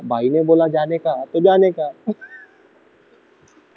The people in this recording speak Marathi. भाई ने बोला जाने का तो जाने का